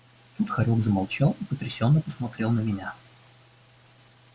тут хорёк замолчал и потрясённо посмотрел на меня